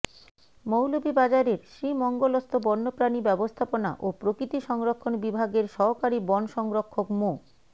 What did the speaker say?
মৌলভীবাজারের শ্রীমঙ্গলস্থ বন্যপ্রাণী ব্যবস্থাপনা ও প্রকৃতি সংরক্ষণ বিভাগের সহকারী বন সংরক্ষক মো